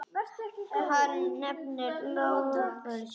Hann efnir loforð sitt.